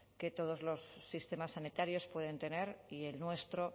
que todos los sistemas sanitarios pueden tener y el nuestro